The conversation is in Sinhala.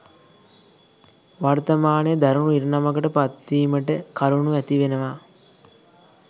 වර්තමානය දරුණු ඉරණමකට පත්වීමට කරුණු ඇති වෙනවා.